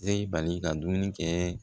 Seli bali ka dumuni kɛ